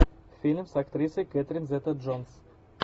фильм с актрисой кэтрин зета джонс